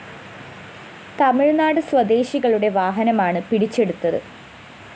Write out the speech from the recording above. തമിഴ്‌നാട് സ്വദേശികളുടെ വാഹനമാണ് പിടിച്ചെടുത്തത്